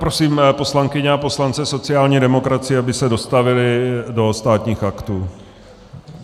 Prosím poslankyně a poslance sociální demokracie, aby se dostavili do Státních aktů.